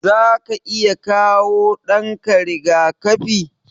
Zaka iya kawo ɗanka riga-kafi?